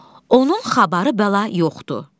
Onun xabarı bəla yoxdur.